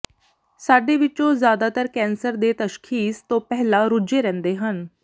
ਸਾਡੇ ਵਿੱਚੋਂ ਜ਼ਿਆਦਾਤਰ ਕੈਂਸਰ ਦੇ ਤਸ਼ਖੀਸ਼ ਤੋਂ ਪਹਿਲਾਂ ਰੁੱਝੇ ਰਹਿੰਦੇ ਹਨ